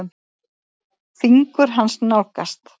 Fingur hans nálgast.